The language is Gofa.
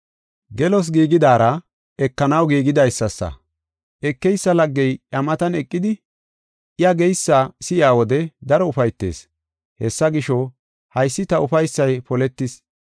Gelos giigidaara ekenaw giigidaysasa. Ekeysa laggey iya matan eqidi I geysa si7iya wode daro ufaytees. Hessa gisho, haysi ta ufaysay poletis.